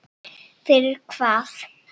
Fyrir hvað?